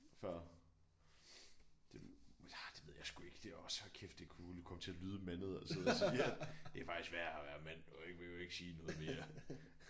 Før det nej det ved jeg sgu ikke det er også hold kæft det kunne komme til at lyde mandet at sidde at sige at det er faktisk værre at være mand man må jo ikke sige noget mere